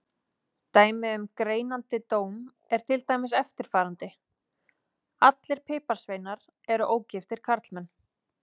Dæmi um greinandi dóm er til dæmis eftirfarandi: Allir piparsveinar eru ógiftir karlmenn.